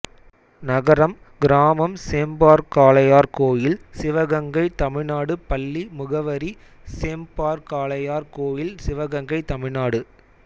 நகரம் கிராமம்சேம்பார்காளையார்கோயில் சிவகங்கை தமிழ்நாடு பள்ளி முகவரி சேம்பார்காளையார்கோயில் சிவகங்கை தமிழ்நாடு